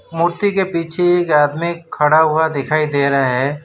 मूर्ति के पिछे एक आदमी खड़ा हुआ दिखाई दे रहा हैं।